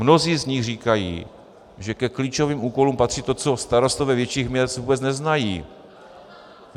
Mnozí z nich říkají, že ke klíčovým úkolům patří to, co starostové větších měst vůbec neznají.